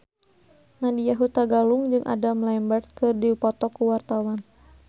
Nadya Hutagalung jeung Adam Lambert keur dipoto ku wartawan